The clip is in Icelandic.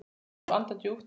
Dró svo andann djúpt.